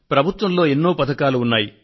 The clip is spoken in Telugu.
ప్రభుత్వంలో ఎన్నో పథకాలు ఉన్నాయి